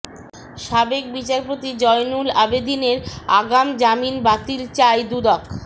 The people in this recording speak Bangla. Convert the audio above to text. সাবেক বিচারপতি জয়নুল আবেদীনের আগাম জামিন বাতিল চায় দুদক